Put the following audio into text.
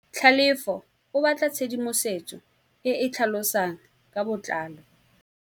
Tlhalefô o batla tshedimosetsô e e tlhalosang ka botlalô.